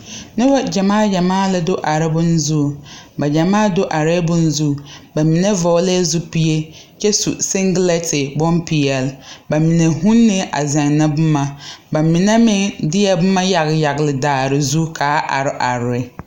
Nobɔ gyamaa gyamaa la do are bon zuŋ ba gyamaa do arɛɛ bon zu ba mine vɔglɛɛ zupile kyɛ su sengilɛnte bonpeɛle ba mine hunee la a zeŋnɛ boma ba mine meŋ deɛ boma yagle yagle daare zu kaa are are re.